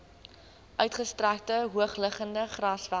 uitgestrekte hoogliggende grasvelde